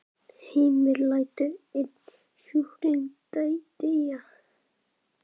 Heimir: Lætur einn sjúkling deyja?